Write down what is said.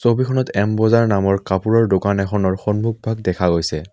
ছবিখনত এম বজাৰ নামৰ কাপোৰৰ দোকান এখনৰ সন্মুখ ভাগ দেখা গৈছে।